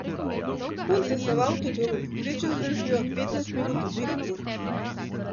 Punce se v avtodomu v povprečju zadržijo od petnajst minut do dveh ur.